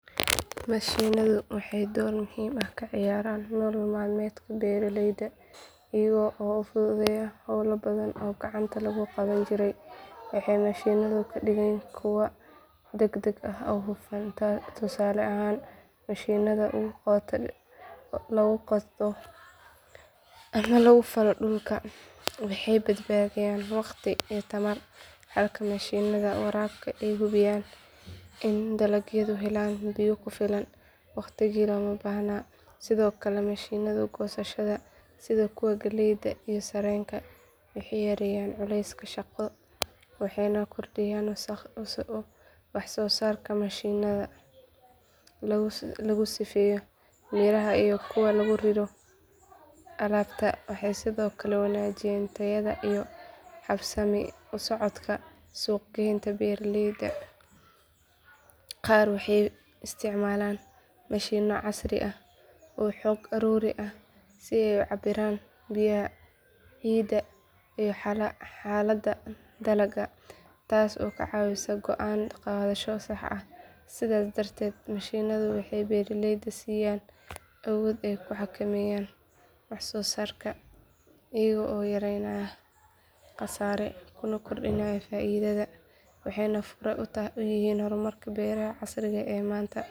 Mashiinadu waxay door muhiim ah ka ciyaaraan nolol maalmeedka beeralayda iyaga oo u fududeeya hawlo badan oo gacanta lagu qaban jiray waxay mashiinadu ka dhigaan kuwo degdeg ah oo hufan tusaale ahaan mashiinnada lagu qodo ama lagu falo dhulka waxay badbaadiyaan waqti iyo tamar halka mashiinnada waraabka ay hubiyaan in dalagyadu helaan biyo ku filan waqtiyadii loo baahnaa sidoo kale mashiinnada goosashada sida kuwa galleyda iyo sarreenka waxay yareeyaan culayska shaqo waxayna kordhiyaan waxsoosaarka mashiinnada lagu sifeeyo miraha iyo kuwa lagu riro alaabta waxay sidoo kale wanaajiyaan tayada iyo habsami u socodka suuq geynta beeraleyda qaar waxay isticmaalaan mashiinno casri ah oo xog ururin ah si ay u cabbiraan biyaha ciidda iyo xaaladda dalagga taas oo ka caawisa go'aan qaadasho sax ah sidaas darteed mashiinadu waxay beeralayda siiyaan awood ay ku xakameeyaan waxsoosaarka iyaga oo yareynaya khasaare kuna kordhinaya faa’iidada waxayna fure u yihiin horumarka beeraha casriga ah ee maanta